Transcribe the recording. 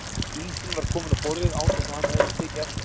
Ísinn var kominn á borðið án þess að hann hefði tekið eftir því.